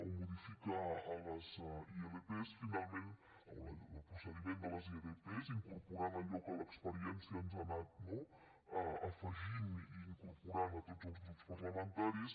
o modifica les ilp o el procediment de les ilp incorporanthi allò que l’experiència ens ha anat no afegint i incorporant a tots els grups parlamentaris